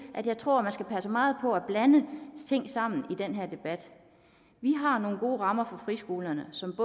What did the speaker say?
at jeg tror at man skal passe meget på med at blande ting sammen i den her debat vi har nogle gode rammer for friskolerne som